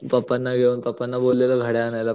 पप्पाना घेऊन पप्पाना बोललेलो घड्याळ आणायाला